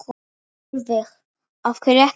Sólveig: Af hverju ekki?